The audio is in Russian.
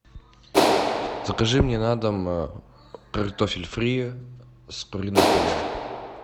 закажи мне на дом картофель фри с куриным филе